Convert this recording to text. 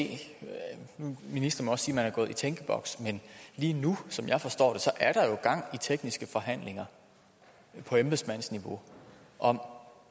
det ministeren siger er gået i tænkeboks men lige nu som jeg forstår det gang i tekniske forhandlinger på embedsmandsniveau om